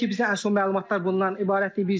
Hələ ki, bizə ən son məlumatlar bundan ibarətdir.